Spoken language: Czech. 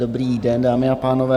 Dobrý den, dámy a pánové.